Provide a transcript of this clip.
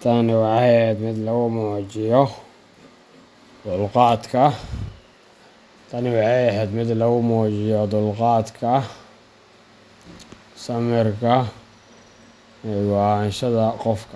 Tani waxay ahayd mid lagu muujiyo dulqaadka, samirka, iyo go’aansashada qofka.,